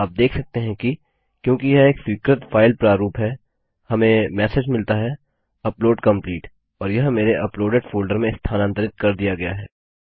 आप देख सकते हैं कि क्योंकि यह एक स्वीकृत फाइल प्रारूप है हमें मेसेज मिलता है Upload कंप्लीट और यह मेरे अपलोडेड फोल्डर में स्थानांतरित कर दिया गया है